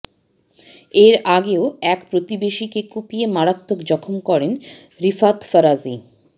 এর আগেও এক প্রতিবেশীকে কুপিয়ে মারাত্মক যখম করেন রিফাত ফরাজী